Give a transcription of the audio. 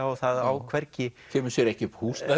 og það á hvergi kemur sér ekki upp húsnæði